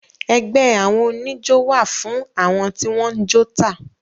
Ẹgbé àwọn oníjó wà fún àwọn tí wọ́n jó tà.